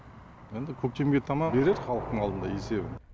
енді көктемге таман береді халықтың алдында есебін